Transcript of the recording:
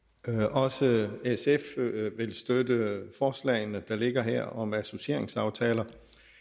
også sf vil støtte forslagene der ligger her om associeringsaftaler